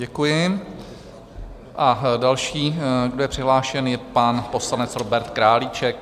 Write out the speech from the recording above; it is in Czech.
Děkuji a další, kdo je přihlášen, je pan poslanec Robert Králíček.